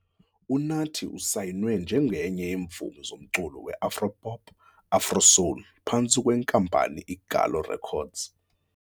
UNathi usayinwe njengenye yeemvumi zomculo weAfro Pop - Afro Soul phantsi kweNkampani iGallo Records.